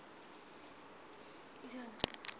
kha u ṱun ḓwa ha